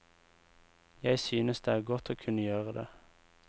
Jeg synes det er godt å kunne gjøre det.